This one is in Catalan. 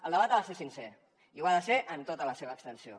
el debat ha de ser sincer i ho ha de ser en tota la seva extensió